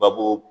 Babu